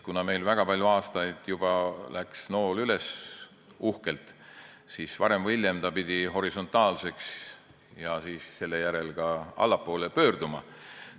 Kuna meil juba väga palju aastaid läks nool uhkelt üles, siis varem või hiljem pidi see suund horisontaalseks ja seejärel ka allapoole pöörduma.